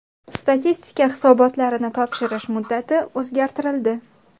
Statistika hisobotlarini topshirish muddati o‘zgartirildi.